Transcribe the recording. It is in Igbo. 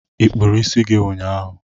ịkpuru isi gị ụnyaahụ?